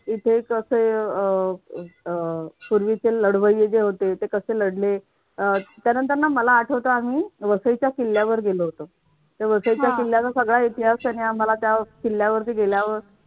इथे कसं अह अह पूर्वीचे लढवई जे होते. ते कसे लढले? त्यानंतर ना मला आठवत आम्ही वसईच्या किल्ल्यावर गेलो होतो. त्या वसईच्या किल्ल्यावर सगळा इतिहास त्यांनी आम्हाला त्या किल्ल्यावरती गेल्यावर